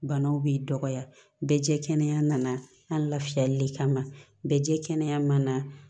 Banaw b'i dɔgɔya bɛɛ jɛ kɛnɛya nana lafiyali de kama bɛɛ jɛ kɛnɛya ma na